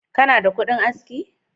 Kana da kudin aski?